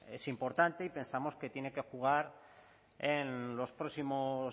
es importante y pensamos que tiene que jugar en los próximos